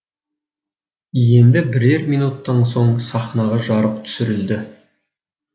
енді бірер минуттан соң сахнаға жарық түсірілді